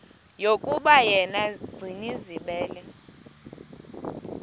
yokuba yena gcinizibele